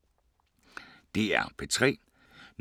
DR P3